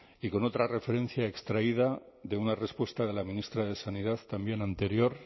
y con otra referencia extraída de una respuesta de la ministra de sanidad también anterior